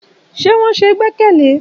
Ṣé wọn ṣe gbẹ́kẹ̀lé?